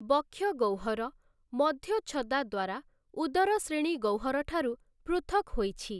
ବକ୍ଷୀୟ ଗହ୍ୱର, ମଧ୍ୟଚ୍ଛଦା ଦ୍ୱାରା ଉଦର ଶ୍ରୋଣୀ ଗହ୍ୱରଠାରୁ ପୃଥକ୍ ହୋଇଛି ।